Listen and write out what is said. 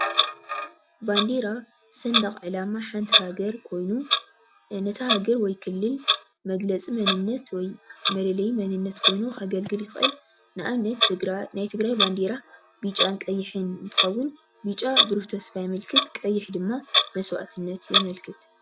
ባንዴራ ስንደቅ ዕላማ ሓንቲ ሃገር ኮይኑ ነታ ሃገር ወይ ክልል መግለፂ መንነት ወይ መለለይ መንነት ኮይኑ ከግልግል ይክእል። ንኣብነት ናይ ትግራይ ባንዴራ ቢጫን ቀይሕን እንትከውን ብጫ ቡሩህ ተስፋ የምልክት ቀይሕ ድማ መስዋእትነት የምልክት።